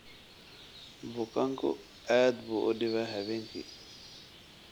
Bukaanku aad buu u dhibaa habeenkii